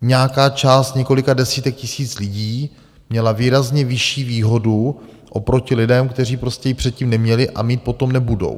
nějaká část několika desítek tisíc lidí měla výrazně vyšší výhodu oproti lidem, kteří prostě ji předtím neměli a mít potom nebudou.